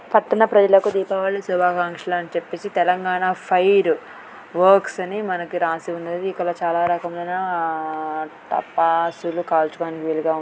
పట్టణ ప్రజలకే దీపావళి శుభాకాంక్షలు అని చెప్పేసి తెలంగాణ ఫైర్ వర్క్స్ అని మనకు రాసి ఉన్నది. ఇక్కడ చాలా రకమైన టపాసులు కాల్చుకోవడానికి వీలుగా ఉన్నది.